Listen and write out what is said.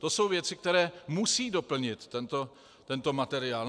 To jsou věci, které musí doplnit tento materiál.